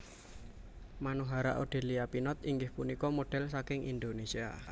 Manohara Odelia Pinot inggih punika model saking Indonesia